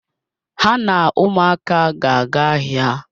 Ha na ụmụaka ga-aga ahịa.